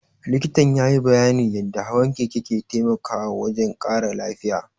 Likitan ya yi bayyanin yadda hawan keke ke taimakawa wajen ƙara lafiya